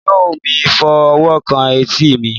mi o mi fọ owo kan eti mi